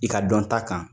I ka dɔn ta kan